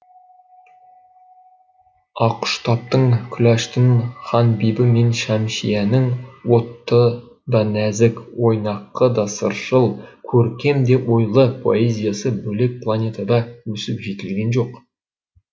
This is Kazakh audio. ақұштаптың күләштың ханбибі мен шәмшияның отты да нәзік ойнақы да сыршыл көркем де ойлы поэзиясы бөлек планетада өсіп жетілген жоқ